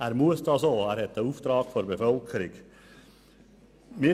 Er muss dies tun, weil er diesen Auftrag von der Bevölkerung hat.